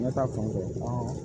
Ɲɛ ta fanfɛ